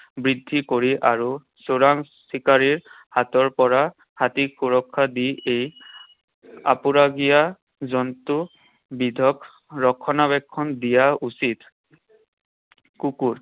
বিক্ৰী কৰি আৰু চোৰাং চিকাৰীৰ হাতৰ পৰা হাতীক সুৰক্ষা দি এই আপুৰুগীয়া জন্তুবিধক ৰক্ষণাবেক্ষণ দিয়া উচিত। কুকুৰ।